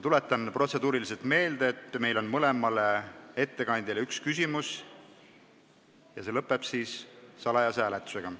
Protseduuri silmas pidades tuletan teile meelde, et mõlemale ettekandjale võib igaüks esitada ühe küsimuse ja arutelu lõpeb salajase hääletusega.